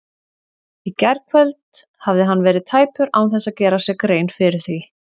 Í gærkvöld hafði hann verið tæpur án þess að gera sér grein fyrir því.